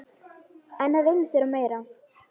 En það reynist vera meira.